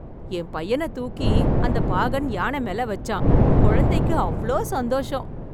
என் பையன தூக்கி அந்த பாகன் யானை மேல வச்சான், குழந்தைக்கு அவ்ளோ சந்தோஷம்.